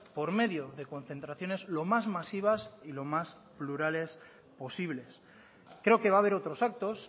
por medio de concentraciones lo más masivas y lo más plurales posibles creo que va a haber otros actos